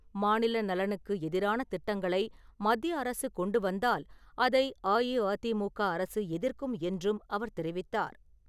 மாநில நலனுக்கு எதிரான திட்டங்களை மத்திய அரசு கொண்டு வந்தால் அதை அஇஅதிமுக அரசு எதிர்க்கும் என்றும் அவர் தெரிவித்தார்.